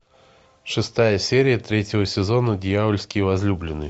шестая серия третьего сезона дьявольские возлюбленные